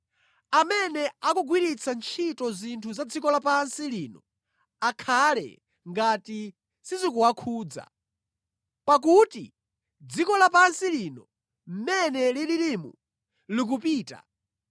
Amene akugwiritsa ntchito zinthu za dziko lapansi lino, akhale ngati sizikuwakhudza. Pakuti dziko lapansi lino mmene lilirimu, likupita.